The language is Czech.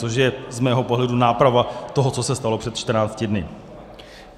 Což je z mého pohledu náprava toho, co se stalo před 14 dny.